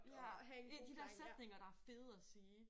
Ja. De der sætninger der er fede at sige